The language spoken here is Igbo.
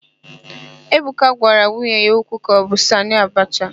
Ebuka gwara nwunye ya okwu ka ọ bụ Sanị Abacha.